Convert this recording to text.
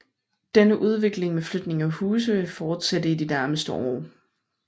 Denne udvikling med flytning af huse vil fortsætte i de nærmeste år